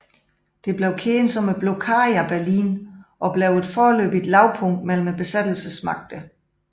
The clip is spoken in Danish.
Det blev kendt som Blokaden af Berlin og blev et foreløbigt lavpunkt mellem besættelsesmagterne